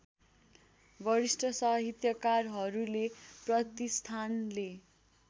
वरिष्ठ साहित्यकारहरूले प्रतिष्ठानले